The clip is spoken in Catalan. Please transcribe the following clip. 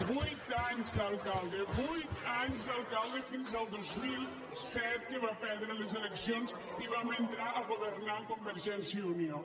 vuit anys d’alcalde vuit anys d’alcalde fins al dos mil set que va perdre les eleccions i vam entrar a governar amb convergència i unió